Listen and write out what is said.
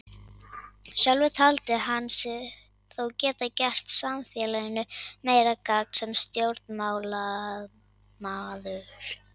Sjálfur taldi hann sig þó geta gert samfélaginu meira gagn sem stjórnmálamaður.